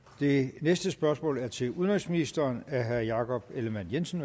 det næste spørgsmål er til udenrigsministeren af herre jakob ellemann jensen